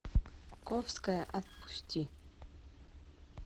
ковская отпусти